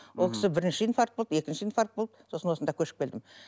ол кісі бірінші инфаркт болды екінші инфаркт болды сосын осында көшіп келдім